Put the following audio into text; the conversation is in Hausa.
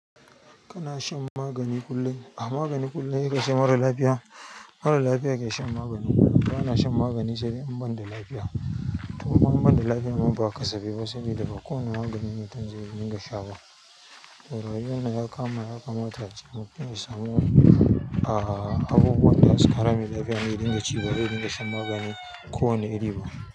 Kana shan magani kullum? A magani kullum sai kace mara lafiya. Mara lafiya yake shan magani kullum. Ba yana shan magani sai de in banda lafiya. To kuma in banda lafiya ma ba kasafai ba saboda ba kowane magani mutum ze dinga sha ba. To, rayuwa na ya kama ya kamata ace mutum ya samu ah ah abubuwan da zasu ƙara mai lafiya ne ya dinga ci ba dai ya dinga shan magani ko wane iri ba.